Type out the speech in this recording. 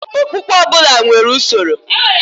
Okpukpe ọbụla nwere usoro.